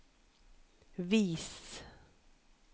vis